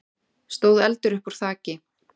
stóð eldur uppúr þaki.